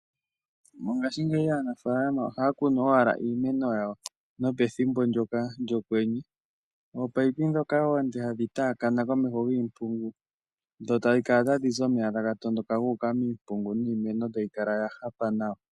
Mongashi ngeyi aanasikola ohaa kunu owala iimeno yawo nopethimbo ndjoka lyo kwenye. oopayipi dhoka oonde hadhi taakana komeho giimpingu dho tadhi kala tadhizi omeya taga tondoka guuka miimpungu yiimeno tayikala yahafa nawa.